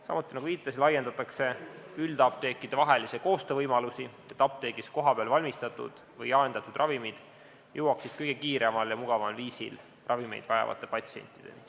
Samuti laiendatakse üldapteekide vahelise koostöö võimalusi, et apteegis kohapeal valmistatud või jaendatud ravimid jõuaksid kõige kiiremal ja mugavamal viisil ravimeid vajavate patsientideni.